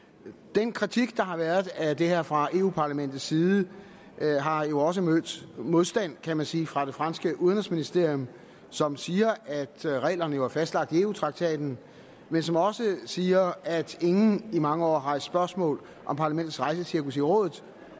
den kritik der har været af det her fra europa parlamentets side har jo også mødt modstand kan man sige fra det franske udenrigsministerium som siger at reglerne jo er fastlagt i eu traktaten men som også siger at ingen i mange år har rejst spørgsmål om parlamentets rejsecirkus i rådet